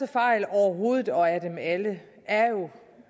fejl overhovedet og af dem alle er jo